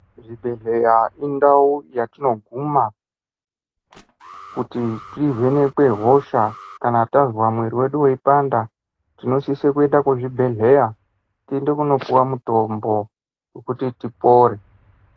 Zvibhedhlera indau yatinobvuma kuti tivhenekwe hosha kana tanzwa muviri wedu wechipanda tinosise kuenda kuzvibhedhlera toende kunopiwa mutombo wekuti tipore.